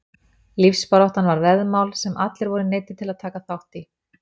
Lífsbaráttan var veðmál sem allir voru neyddir til að taka þátt í.